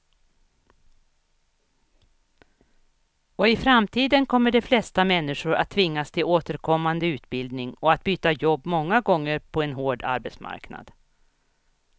Och i framtiden kommer de flesta människor att tvingas till återkommande utbildning och att byta jobb många gånger på en hård arbetsmarknad.